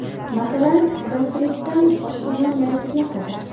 Masalan, gastritdan oshqozon yarasiga qadar.